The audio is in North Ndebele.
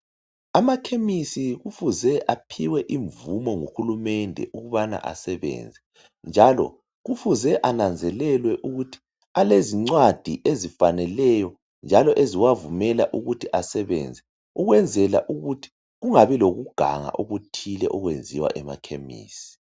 Amakhemisi kufuze aphiwe imvumo nguhulumende ukubana abasebenze njalo kufuze ananzelelwe ukuthi alezincwadi ezifaneleyo njalo eziwavumela ukuthi basebenze ukwenzela ukuthi kungabi lokuganga okuthile okwenziwa emakhemisi.